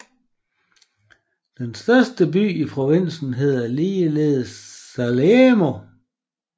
Den største by i provinsen hedder ligeledes Salerno